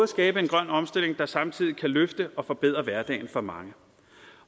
skabe en grøn omstilling der samtidig både kan løfte og forbedre hverdagen for mange